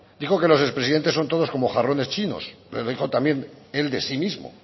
dijo que los expresidentes son todos como jarrones chinos lo dijo también él de sí mismo